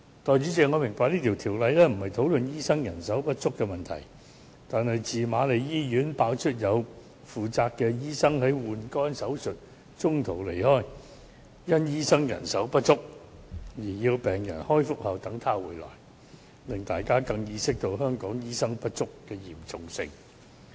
代理主席，我明白這項《條例草案》的主題並非討論醫生人手不足的問題，但自瑪麗醫院爆出有負責醫生在換肝手術中途離開，因醫生人手不足而要病人在開腹後等醫生回來，令大家更加意識到香港醫生不足問題的嚴重性。